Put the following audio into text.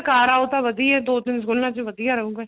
ਕਰ ਆਓ ਤਾ ਵਧੀਆ ਦੋ ਤਿੰਨ ਸਕੂਲਾ ਚ ਵਧੀਆ ਰਹੁਗਾ